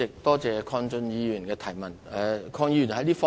多謝鄺俊宇議員的補充質詢。